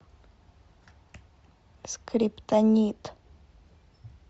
скриптонит